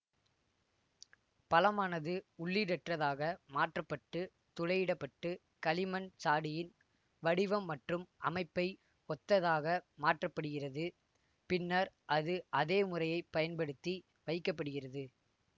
பழமானது உள்ளீடற்றதாக மாற்ற பட்டு துளையிடப்பட்டு களிமண் சாடியின் வடிவம் மற்றும் அமைப்பை ஒத்ததாக மாற்ற படுகிறது பின்னர் அது அதே முறையை பயன்படுத்தி வைக்க படுகிறது